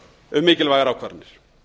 um mikilvægar ákvarðanir